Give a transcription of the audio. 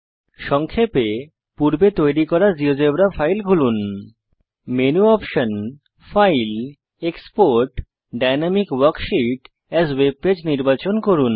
সংক্ষেপে পূর্বে তৈরী করা জীয়োজেব্রা ফাইল খুলুন menu option file export dynamic worksheet as webpage নির্বাচন করুন